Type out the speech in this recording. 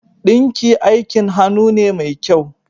Ɗinki aikin hannu ne mai kyau